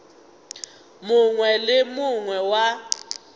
mongwe le yo mongwe wa